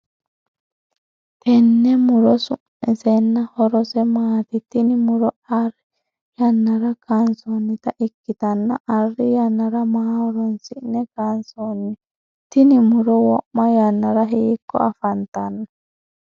Tenne muro su'misenna horose maati? Tinni muro Ari yannara kaansoonnita ikitanna Ari yanara maa horoonsi'ne kaansoonni? Tinni muro wo'ma yannara hiiko afantano?